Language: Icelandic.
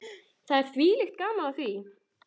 Það er þvílíkt gaman af því.